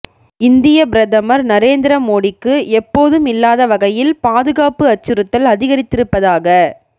இந்திய பிரதமர் நரேந்திர மோடிக்கு எப்போதும் இல்லாத வகையில் பாதுகாப்பு அச்சுறுத்தல் அதிகரித்திருப்பதாக